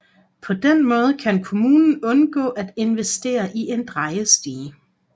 På den måde kan kommunen undgå at investere i en drejestige